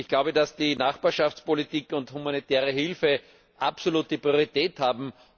Ich glaube, dass die Nachbarschaftspolitik und die humanitäre Hilfe absolute Priorität haben.